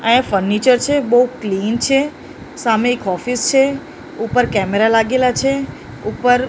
આ એ ફર્નિચર છે બહુ ક્લીન છે સામે એક ઑફિસ છે ઉપર કેમેરા લાગેલા છે ઉપર --